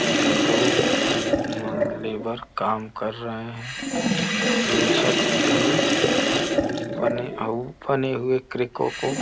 उम् दो अ लेबर काम कर रहे हैं। यह छत तुम्हे बने बने हुए क्रैको को --